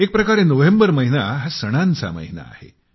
एक प्रकारे नोव्हेंबर महिना हा सणांचा महिना आहे